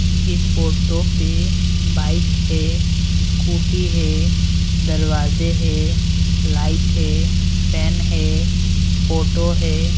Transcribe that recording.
इस फोटो पे बाइक है स्कूटी है दरवाजे है लाइट है फैन है फोटो है।